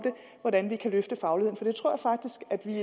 hvordan vi kan løfte fagligheden for jeg tror faktisk at vi